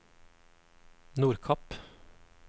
Nordkapp